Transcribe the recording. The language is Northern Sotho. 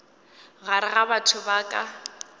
gare ga batho ba ka